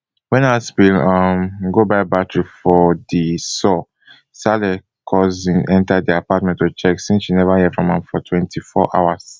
wen haspil um go buy battery for di saw saleh cousin enta di apartment to check since she neva hear from am for twenty-four hours